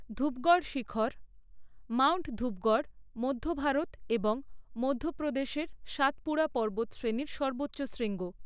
ধূপগড় শিখর, মাউন্ট ধূপগড় মধ্য ভারত এবং মধ্যপ্রদেশের সাতপুরা পর্বতশ্রেণীর সর্বোচ্চ শৃঙ্গ।